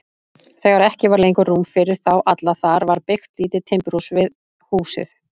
Þegar ekki var lengur rúm fyrir þá alla þar var byggt lítið timburhús við húsið.